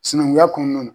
Sinankunya kɔnɔna na